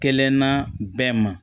Kelenna bɛɛ ma